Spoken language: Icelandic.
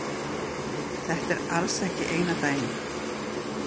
Þetta er alls ekki eina dæmið.